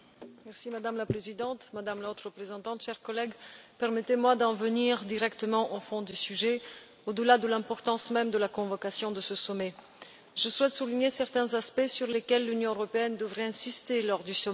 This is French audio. Madame la Présidente, Madame la Haute représentante, chers collègues, permettez moi d'en venir directement au fond du sujet, au delà de l'importance même de la convocation de ce sommet. Je souhaite souligner certains aspects sur lesquels l'Union européenne devrait insister lors du sommet.